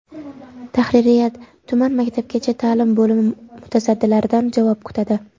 Tahririyat tuman maktabgacha ta’lim bo‘limi mutasaddilaridan javob kutadi.